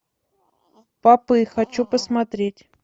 папы хочу посмотреть